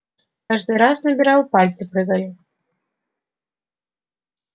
каждый раз набирал пальцы прыгали